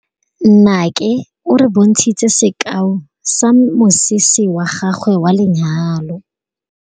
Nnake o re bontshitse sekaô sa mosese wa gagwe wa lenyalo.